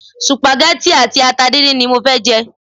Supageti àti ata dindin ni mo fẹ́ jẹ.